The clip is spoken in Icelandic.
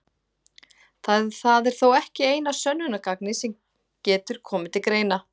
Það er þó ekki eina sönnunargagnið sem getur komið til greina.